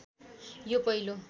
यो पहिलो